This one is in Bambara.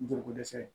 Joliko dɛsɛ